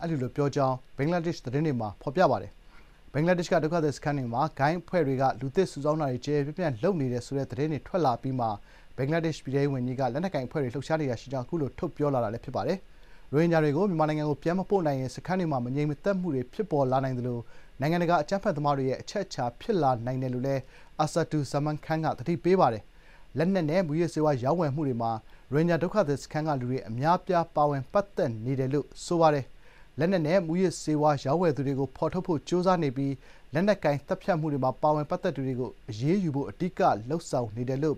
အာဆာဒူဇာမန်ခန်းက အဲဒီလိုပြောကြောင်း ဘင်္ဂလားဒေ့ရှ် သတင်းတွေမှာ ဖော်ပြပါတယ်။ ဘင်္ဂလားဒေ့ရှ်က ဒုက္ခသည်စခန်းတွေမှာ ဂိုဏ်းအဖွဲ့တွေက လူသစ်စုဆောင်းတာတွေ ကျယ်ကျယ်ပြန့်ပြန့်လုပ်နေတယ် ဆိုတဲ့ သတင်းတွေ ထွက်လာအပြီးမှာ ဘင်္ဂလားဒေ့ရှ် ပြည်ထဲရေးဝန်ကြီးက လက်နက်ကိုင်အဖွဲ့တွေ လှုပ်ရှားနေတာရှိကြောင်း အခုလို ထုတ်ပြောလာတာ ဖြစ်ပါတယ်။ “ရိုဟင်ဂျာတွေကို မြန်မာနိုင်ငံကို ပြန်မပို့နိုင်ရင် စခန်းတွေမှာ မငြိမ်မသက်မှုတွေ ဖြစ်ပေါ်လာနိုင်သလို နိုင်ငံတကာ အကြမ်းဖက်သမားတွေရဲ့ အချက်အချာ ဖြစ်လာနိုင်တယ်” လို့လည်း အာဆာဒူဇာမန်ခန်းက သတိပေးပါတယ်။ လက်နက်နဲ့ မူးယစ်ဆေးဝါး ရောင်းဝယ်မှုတွေမှာ ရိုဟင်ဂျာ ဒုက္ခသည်စခန်းက လူတွေ အများအပြား ပါဝင် ပတ်သက်နေတယ်လို့ ဘင်္ဂလားဒေ့ရှ် ပြည်ထဲရေးဝန်ကြီးက ပြောပြီး “လက်နက်နဲ့ မူးယစ်ဆေးဝါး ရောင်းဝယ်သူတွေကို ဖော်ထုတ်ဖို့ ကြိုးစားနေပြီး လက်နက်ကိုင်သတ်ဖြတ်မှုတွေမှာ ပါဝင်ပတ်သက်သူတွေကို အရေးယူနိုင်ဖို့ အဓိကလုပ်ဆောင်နေတယ်” လို့